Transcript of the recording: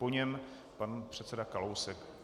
Po něm pan předseda Kalousek.